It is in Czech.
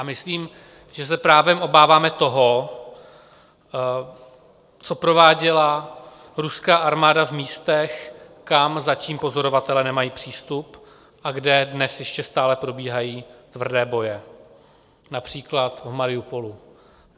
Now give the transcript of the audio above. A myslím, že se právem obáváme toho, co prováděla ruská armáda v místech, kam zatím pozorovatelé nemají přístup a kde dnes ještě stále probíhají tvrdé boje, například v Mariupolu.